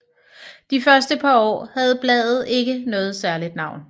De første par år havde bladet ikke noget særligt navn